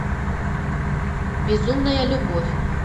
безумная любовь